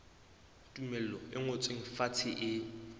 tumello e ngotsweng fatshe e